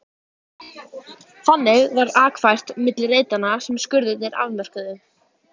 Þannig var akfært milli reitanna sem skurðirnir afmörkuðu.